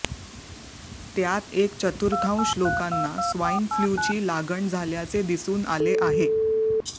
त्यात एक चतुर्थाश लोकांना स्वाइन फ्ल्यूची लागण झाल्याचे दिसून आले आहे